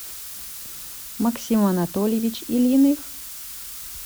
максим анатольевич ильиных